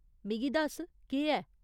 मिगी दस्स, केह् ऐ ?